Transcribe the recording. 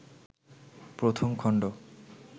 প্রথম খণ্ড